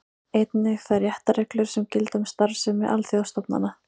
Einnig þær réttarreglur sem gilda um starfsemi alþjóðastofnana.